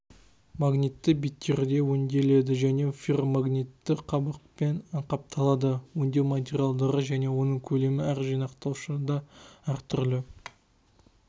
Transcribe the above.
магнитті беттері өңделеді және ферромагнитті қабықпен қапталады өңдеу материалдары және оның көлемі әр жинақтаушыда әр түрлі